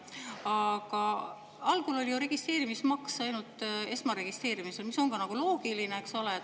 Algul olema registreerimismaks ju ainult esmaregistreerimisel, mis on loogiline.